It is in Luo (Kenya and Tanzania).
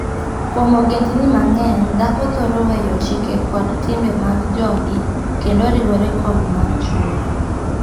Kuom ogendini mang'eny, dhako thoro weyo chike kod timbe mag jogii kendo oriwore kod mag chwore.